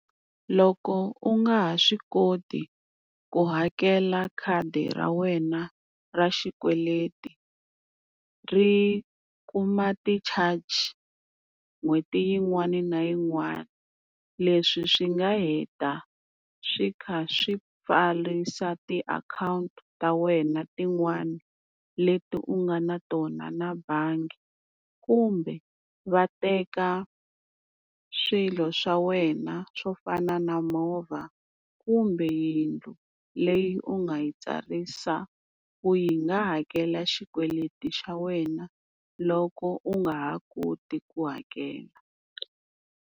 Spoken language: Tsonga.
Loko u nga ha swi koti ku hakela khadi ra wena ra xikweleti ri kuma ti-charge n'hweti yin'wana na yin'wana. Leswi swi nga heta swi kha swi pfarisa ti akhawunti ta wena tin'wani leti u nga na tona na bangi, kumbe va teka swilo swa wena swo fana na movha kumbe yindlu leyi u nga yi tsarisa ku yi nga hakela xikweleti xa wena loko u nga ha koti ku hakela.